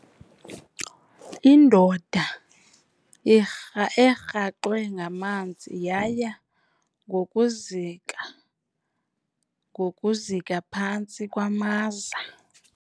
Indoda erhaxwe ngamanzi yaya ngokuzika ngokuzika phantsi kwamaza.